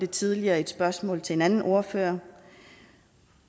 tidligere i et spørgsmål til en anden ordfører